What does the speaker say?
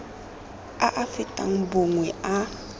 a a fetang bongwe a